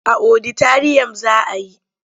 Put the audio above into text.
A oditariyam za a yi.